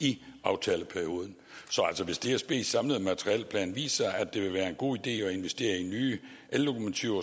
i aftaleperioden så hvis dsbs samlede materielplan viser at det vil være en god idé at investere i nye ellokomotiver